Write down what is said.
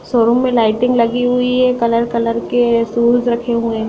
showroom में lighting लगी हुई है कलर कलर के शूज रखे हुए हैं |